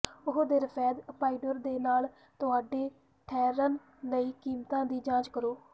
ਓਆਹ ਤੇ ਰਫੈਦ ਅਪਾਇਡਿਓਰ ਦੇ ਨਾਲ ਤੁਹਾਡੇ ਠਹਿਰਨ ਲਈ ਕੀਮਤਾਂ ਦੀ ਜਾਂਚ ਕਰੋ